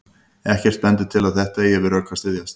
Ekkert bendir til að þetta eigi við rök að styðjast.